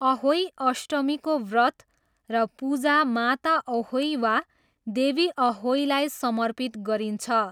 अहोई अष्टमीको व्रत र पूजा माता अहोई वा देवी अहोईलाई समर्पित गरिन्छ।